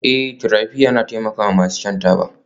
Eh therapy yana taimakawa masu shan taba